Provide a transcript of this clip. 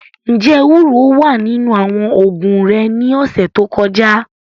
Njẹ ewuro wa ninu awọn oogun re ni ọsẹ to kọja?